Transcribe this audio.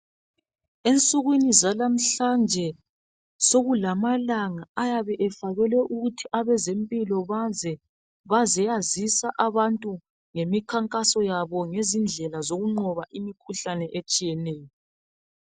Ensukwini zalamhlanje sokulama langa ayabe efakelwe ukuthi abezempilo baze bazoyazisa abantu ngemikhankaso yabo ngezindlela zokunqoba imikhuhlane etshiyeneyo.